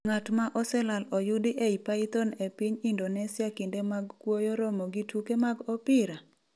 Ng'at ma oselal oyudi ei python e piny Indonesia Kinde mag kuoyo romo gi tuke mag opira?